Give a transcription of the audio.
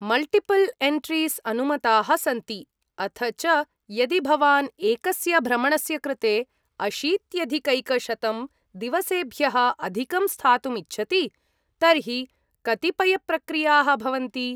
Multiple entries अनुमताः सन्ति। अथ च यदि भवान् एकस्य भ्रमणस्य कृते अशीत्यधिकैकशतं दिवसेभ्यः अधिकं स्थातुम् इच्छति तर्हि कतिपयप्रक्रियाः भवन्ति।